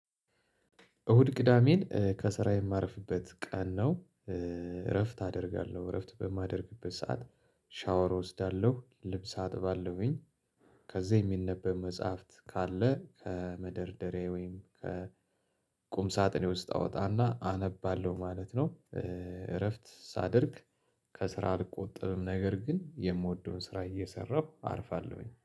እሁድ ቅዳሜን ከስራ የማርፍበት ቀን ነው። እረፍት አደርጋለሁ እረፍት በማደርግበት ሰዓት ሻወር እወስዳለሁ ልብስ አጥባለሁኝ። ከዛ የሚነበብ መጽሐፍት ካለ ከመደርደሪያዬ ወይም ከቁም ሳጥኔ ውስጥ አወጣና አነባለሁ ማለት ነው። እረፍት ሳደርግ። ከስራ አልቆጠብም ነገር ግን የምወደውን ስራ እየሰራሁ አርፋለሁኝ